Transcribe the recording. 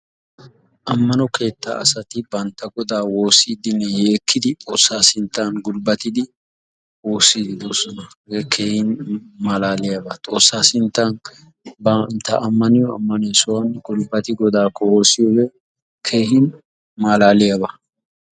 Ammano keetta asati bantta godaa woossiidinne yeekkiiddi xoossa sinttan gulbbattidi woossiddi doosona. hege keehin malaaliyaba. Xoossa sinttan bantta ammaniyo ammaniyo sohuwan gulbbattidi godaakko woossiyoge keehin malaaliyaba.